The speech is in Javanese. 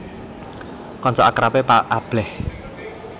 Kanca akrabé Pak Ablèh